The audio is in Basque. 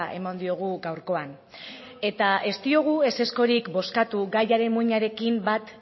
eman diogu gaurkoan eta ez diogu ezezkorik bozkatu gaiaren muinarekin bat